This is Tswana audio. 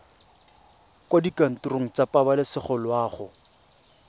kwa dikantorong tsa pabalesego loago